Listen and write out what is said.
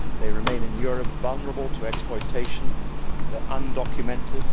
They remain in Europe, vulnerable to exploitation, and are undocumented.